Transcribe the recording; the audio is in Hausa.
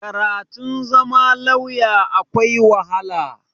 Karatun zama lauya akwai wahala.